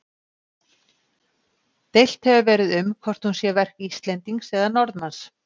Deilt hefur verið um hvort hún sé verk Íslendings eða Norðmanns.